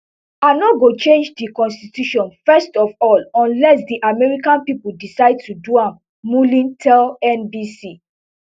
i no go change di constitution first of all unless di american pipo decide to do am mullin tell nbc